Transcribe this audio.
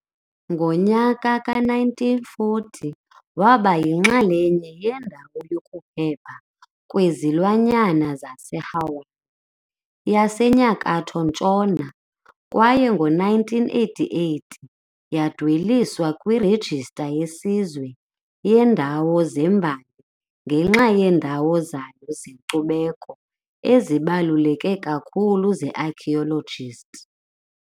Ngomnyaka we-1940, yaba yinxalenye yeNdawo yokuPhepha kweZilwanyana zaseHawaii yaseNyakatho-ntshona kwaye, ngo-1988, yadweliswa kwiRejista yeSizwe yeeNdawo zeMbali ngenxa yeendawo zayo zenkcubeko ezibaluleke kakhulu ze-archaeological.